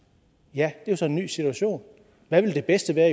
ja det er så en ny situation hvad vil det bedste være